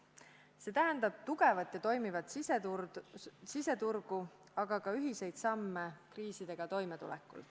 See tähendab tugevat ja toimivat siseturgu, aga ka ühiseid samme kriisidega toimetulekul.